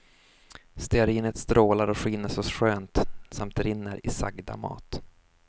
Stearinet strålar och skiner så skönt samt rinner i sagda mat.